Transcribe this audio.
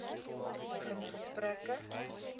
begin gesprekke